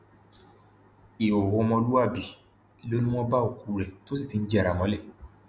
ìhòòhò ọmọlúàbí ló ní wọn bá òkú rẹ tó sì ti ń jẹrà mọlẹ